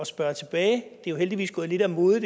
spørge tilbage det er heldigvis gået lidt af mode